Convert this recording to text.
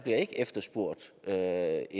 er